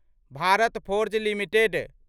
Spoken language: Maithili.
Bharat Forge limited